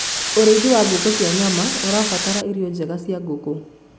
ũrĩithi wa ngũkũ cia nyama ũrabatara irio njega cia ngũkũ